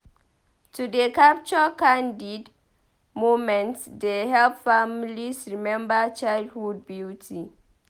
To dey Capture candid moments dey help families remember childhood beauty.